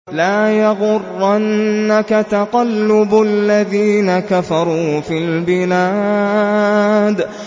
لَا يَغُرَّنَّكَ تَقَلُّبُ الَّذِينَ كَفَرُوا فِي الْبِلَادِ